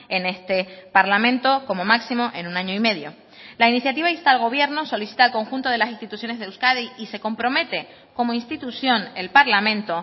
en este parlamento como máximo en un año y medio la iniciativa insta al gobierno solicita al conjunto de las instituciones de euskadi y se compromete como institución el parlamento